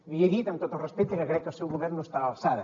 li he dit amb tot el respecte que crec que el seu govern no està a l’alçada